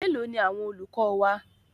Mélòó ni àwọn olùkọ́ wa?